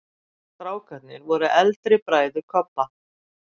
STRÁKARNIR voru eldri bræður Kobba.